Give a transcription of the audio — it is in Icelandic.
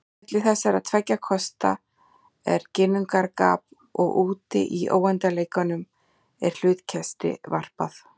Á milli þessara tveggja kosta er ginnungagap og úti í óendanleikanum er hlutkesti varpað.